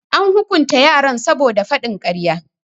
An hukunta yaran saboda faɗin karfa.